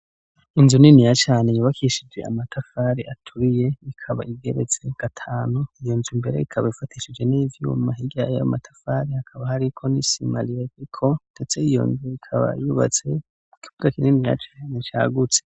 Inzu niniya cane yubakishije amatafari aturiye ikaba igeretse gatanu, iyo nzu mbere ikaba ifatishije n'ivyuma, hirya yayo matafari hakaba hariko n'isima iriko, ndetse iyo nzu ikaba yubatse ku kibuga kininiya cane cagutse.